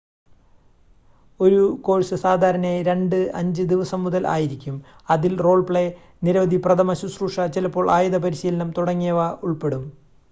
ഒരു കോഴ്‌സ് സാധാരണയായി 2-5 ദിവസം മുതൽ ആയിരിക്കും അതിൽ റോൾ പ്ലേ നിരവധി പ്രഥമശുശ്രൂഷ ചിലപ്പോൾ ആയുധ പരിശീലനം തുടങ്ങിയവ ഉൾപ്പെടും